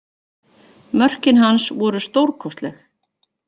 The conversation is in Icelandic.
Mörkin hans voru stórkostleg